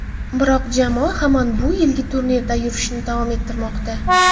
Biroq jamoa hamon bu yilgi turnirdagi yurishini davom ettirmoqda.